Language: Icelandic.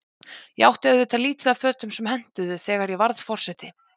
Ég átti auðvitað lítið af fötum sem hentuðu, þegar ég varð forseti.